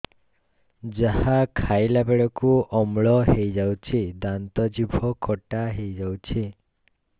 ଯାହା ଖାଇଲା ବେଳକୁ ଅମ୍ଳ ହେଇଯାଉଛି ଦାନ୍ତ ଜିଭ ଖଟା ହେଇଯାଉଛି